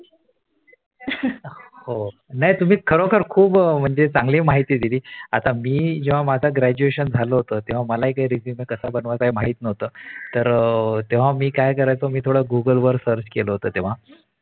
हो नाही तुम्ही खरोखर खूप चांगली माहिती दिली. आता मी जेव्हा माझा Graduation झाला होत तेव्हा मलाही काही Resume कस बनवता हे माही नव्हतं तेव्हा मी कस Google वर Search केले होत तेव्हा